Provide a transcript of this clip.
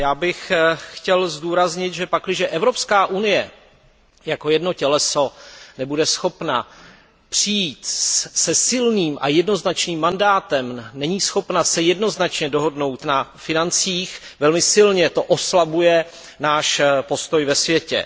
Já bych chtěl zdůraznit, že pakliže Evropská unie jako jedno těleso nebude schopna přijít se silným a jednoznačným mandátem, není schopna se jednoznačně dohodnout na financích, velmi silně to oslabuje náš postoj ve světě.